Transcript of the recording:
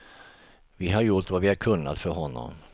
Vi har gjort vad vi har kunnat för honom.